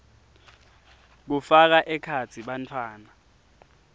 kufaka ekhatsi bantfwana